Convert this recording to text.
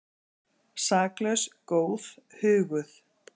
Saklaus, góð, huguð.